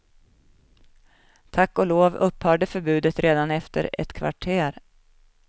Tack och lov upphörde förbudet redan efter ett kvarter.